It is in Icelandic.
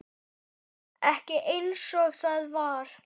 Didda sagði mig skræfu.